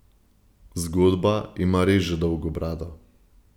Zgodba ima res že dolgo brado.